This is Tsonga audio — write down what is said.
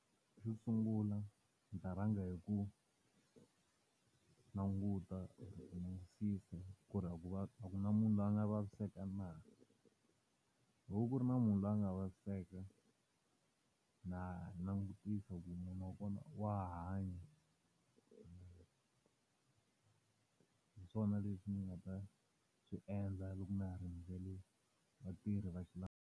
Xo sungula ndzi ta langa hi ku languta ku langutisisa ku ri a ku a ku na munhu loyi a nga vaviseka na. Loko ku ri na munhu loyi a nga vaviseka, na langutisa ku munhu wa kona wa ha hanya. Hi swona leswi ni nga ta swi endla loko na ha rindzele vatirhi .